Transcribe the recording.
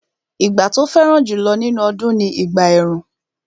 Ìgbà tó fẹ́ràn jùlọ nínú ọdún ni ìgbà ẹ̀rùn